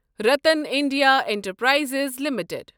Ratan India enterprises limited